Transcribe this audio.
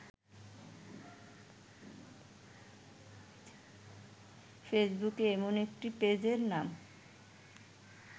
ফেসবুকে এমন একটি পেজের নাম